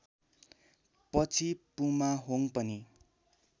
पछि पुमाहोङ पनि